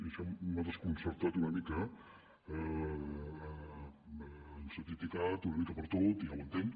i això m’ha desconcertat una mica ens ha criticat una mica per tot i ja ho entenc